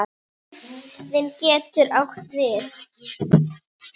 Jörð getur átt við